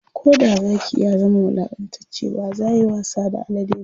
Koda Zaki ya zama wulaƙantacce bazayayi wasa da alade ba